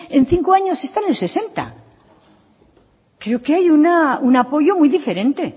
en cinco años está en el sesenta creo que hay un apoyo muy diferente